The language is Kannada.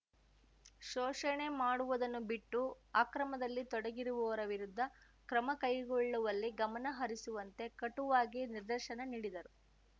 ಶೋಷಣೆ ಮಾಡುವುದನ್ನು ಬಿಟ್ಟು ಅಕ್ರಮದಲ್ಲಿ ತೊಡಗಿರುವವರ ವಿರುದ್ಧ ಕ್ರಮ ಕೈಗೊಳ್ಳುವಲ್ಲಿ ಗಮನ ಹರಿಸುವಂತೆ ಕಟುವಾಗಿ ನಿರ್ದೇಶನ ನೀಡಿದರು